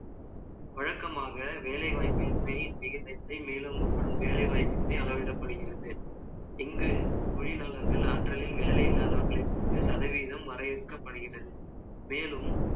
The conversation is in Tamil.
வழக்கமாக, வேலைவாய்ப்பின்மை, மேலோங்கப்படும் வேலைவாய்ப்பின்மை அளவிடப்படுகிறது இங்கு தொழில் நகரங்கள், ஆற்றலில், வேலை இல்லாதவற்றைக் கொண்டு, சதவீதம் வரையறுக்கப்படுகிறது. மேலும்,